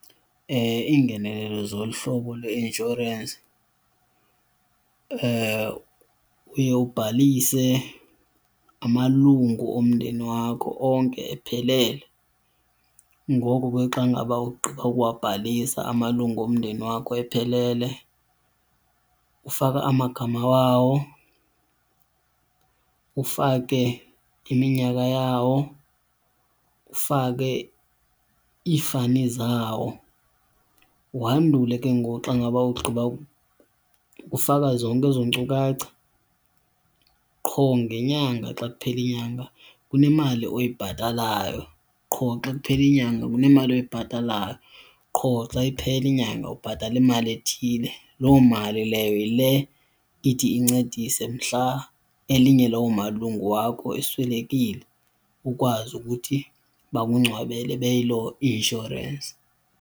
Iingenelelo zolu hlobo lweinshorensi uye ubhalise amalungu omndeni wakho onke ephelele. Nngoko ke xa ngaba ugqiba ukuwabhalisa amalungu omndeni wakho ephelele ufaka amagama wawo, ufake iminyaka yawo, ufake iifani zawo wandule ke ngoku xa ngaba ugqiba ukufaka zonke ezo nkcukacha qho ngenyanga xa kuphela inyanga kunemali oyibhatalayo, qho xa kuphela inyanga kunemali oyibhatalayo, qho xa iphela inyanga ubhatala imali ethile. Loo mali leyo yile ithi incedise mhla elinye lalowo malungu wakho eswelekile ukwazi ukuthi bakungcwabele beyiloo insurance.